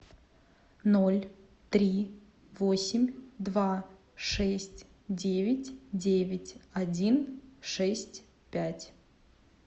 ноль три восемь два шесть девять девять один шесть пять